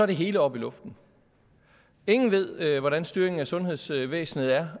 det hele oppe i luften ingen ved hvordan styringen af sundhedsvæsenet er